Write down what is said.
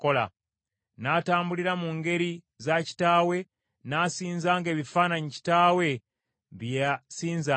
N’atambulira mu ngeri za kitaawe, n’asinzanga ebifaananyi kitaawe bye yasinzanga.